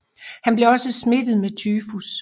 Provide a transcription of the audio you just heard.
Han blev også smittet med tyfus